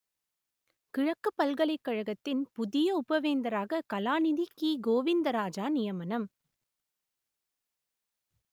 கிழக்கு பல்கலைக்கழகத்தின் புதிய உப வேந்தராக கலாநிதி கி கோவிந்தராஜா நியமனம்